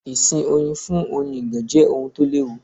Ìsìn Oyin fún Oyin ìgàn jẹ́ ohun tó l'ẹ́wu.